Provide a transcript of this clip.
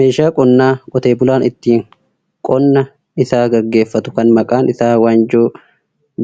Meeshaa qonnaa qote bulaan ittiin qonna isaa gaggeeffatu kan maqaan isaa wanjoo